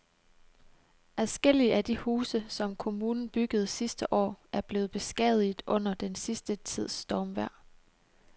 Adskillige af de huse, som kommunen byggede sidste år, er blevet beskadiget under den sidste tids stormvejr.